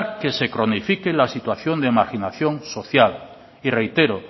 que se cronifique la situación de marginación social y reitero